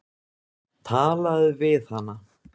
Talaðu við hana.